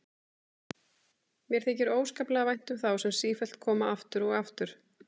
Mér þykir óskaplega vænt um þá sem sífellt koma aftur og aftur.